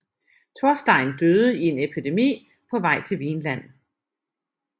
Thorstein døde i en epidemi på vej til Vinland